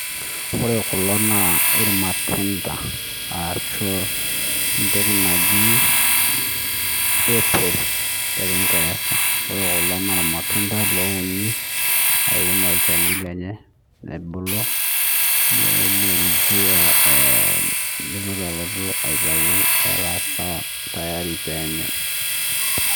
Ore kulo naa ormatundai arashuu entoki naji apple te kingeresa. Ore kulo naa ormatunda loouni iun olchani lenye nabulu leloljua eee lelotu aitau etaa sawa tayari peenyae